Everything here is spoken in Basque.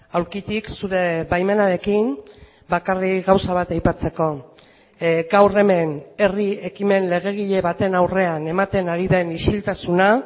aulkitik zure baimenarekin bakarrik gauza bat aipatzeko gaur hemen herri ekimen legegile baten aurrean ematen ari den isiltasuna